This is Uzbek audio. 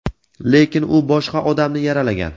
lekin u boshqa odamni yaralagan.